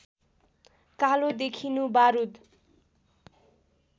कालो देखिनु बारुद